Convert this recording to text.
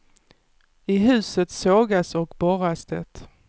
I huset sågas och borras det.